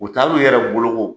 U taa'lu yɛrɛ bolo ko!